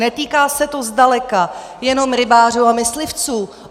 Netýká se to zdaleka jenom rybářů a myslivců.